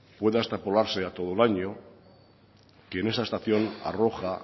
pueda extrapolarse a todo el año que en esa estación arroja